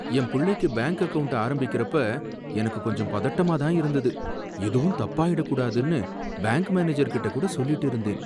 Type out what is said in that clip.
M புள்ளைக்கு bank account ஆரம்பிக்கறப்ப எனக்கு கொஞ்சம் பதட்டமா இருந்தது, எதுவும் தப்பாயிடக்கூடாதுன்னு பேங்க் மேனேஜர்கிட்ட கூட சொல்லிட்டு இருந்தேன்